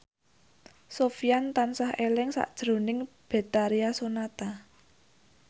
Sofyan tansah eling sakjroning Betharia Sonata